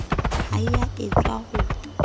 ha e a etswa ho